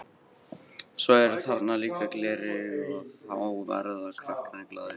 Svo eru þarna líka gleraugu og þá verða krakkarnir glaðir.